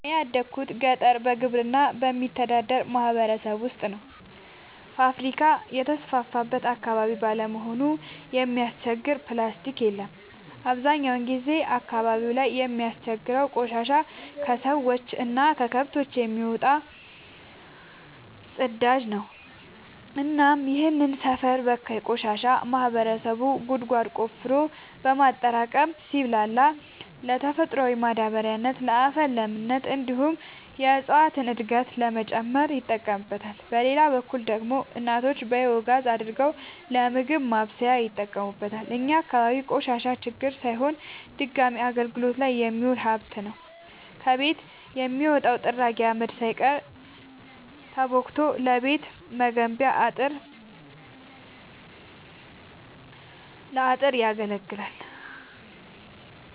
እኔ ያደጉት ገጠር በግብርና በሚተዳደር ማህበረሰብ ውስጥ ነው። ፋብሪካ የተስፋፋበት አካባቢ ባለመሆኑ የሚያስቸግር ፕላስቲ የለም አብዛኛውን ጊዜ አካባቢው ላይ የሚያስቸግረው ቆሻሻ የከሰዎች እና ከከብቶች የሚወጣው ፅዳጅ ነው እናም ይህንን ሰፈር በካይ ቆሻሻ ማህበረሰቡ ጉድጓድ ቆፍሮ በማጠራቀም ሲብላላ ለተፈጥሯዊ ማዳበሪያነት ለአፈር ለምነት እንዲሁም የእፀዋትን እድገት ለመጨመር ይጠቀምበታል። በሌላ በኩል ደግሞ እናቶች ባዮጋዝ አድርገው ለምግብ ማብሰያነት ይጠቀሙበታል። እኛ አካባቢ ቆሻሻ ችግር ሳይሆን ድጋሚ አገልግት ላይ የሚውል ሀብት ነው። ከቤት የሚወጣው ጥራጊ አመድ ሳይቀር ተቦክቶ ለቤት መገንቢያ ለአጥር ያገለግላል።